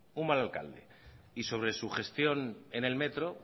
un mal alcalde y sobre su gestión en el metro